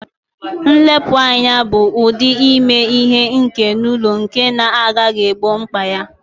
Nlepu anya bụ ụdị ime ihe ike n'ụlọ nke na-anaghị egbo mkpa ya